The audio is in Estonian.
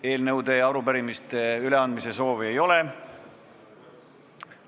Eelnõude ja arupärimiste üleandmise soovi ei ole.